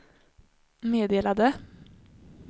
meddelade